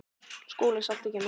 SKÚLI: Saltið kemur.